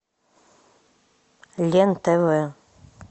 лен тв